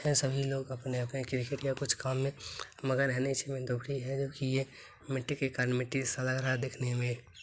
यहां सभी लोग अपने-अपने कुछ काम में मगन है इसी में दुभरी है जो कि ये मिट्टी के कण मिट्टी सा लग रहा है देखने में।